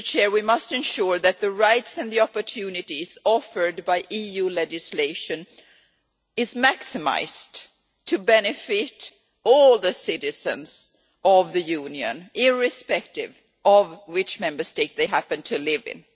We must ensure that the rights and the opportunities offered by EU legislation are maximised to benefit all the citizens of the Union, irrespective of which Member State they happen to live in.